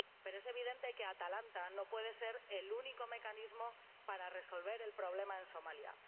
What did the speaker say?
Pero es evidente que Atalanta no puede ser el único mecanismo para resolver el problema en Somalia.